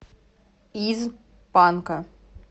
из панка